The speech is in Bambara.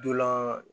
Dolan